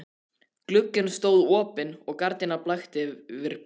Glugginn stóð opinn og gardínan blakti yfir bakgarðinn.